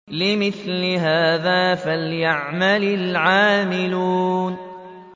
لِمِثْلِ هَٰذَا فَلْيَعْمَلِ الْعَامِلُونَ